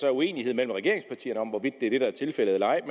er uenighed mellem regeringspartierne om hvorvidt det er det der er tilfældet eller ej